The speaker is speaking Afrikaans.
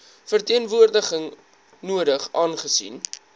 verteenwoordiging nodig aangesien